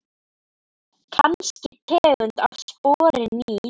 Kannski tegund af spori ný.